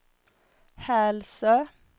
Hälsö